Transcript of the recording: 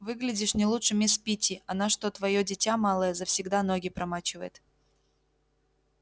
выглядишь не лучше мисс питти она что твоё дитя малое завсегда ноги промачивает